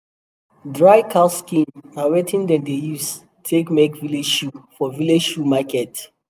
dry cow skin na wetin dem dey use take make village shoe for village shoe market